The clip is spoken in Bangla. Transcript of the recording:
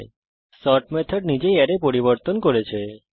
নোট করুন যে সর্ট মেথড নিজেই অ্যারে পরিবর্তন করেছে